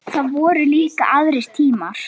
Það voru líka aðrir tímar.